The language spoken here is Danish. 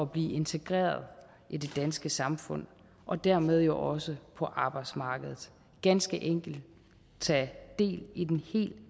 blive integreret i det danske samfund og dermed også på arbejdsmarkedet ganske enkelt tage del i den helt